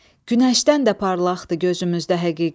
Günəşdən də parlaqdır gözümüzdə həqiqət.